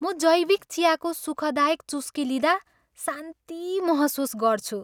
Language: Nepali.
म जैविक चियाको सुखदायक चुस्की लिँदा शान्ति महसुस गर्छु।